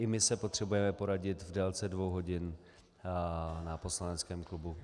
I my se potřebujeme poradit v délce dvou hodin na poslaneckém klubu.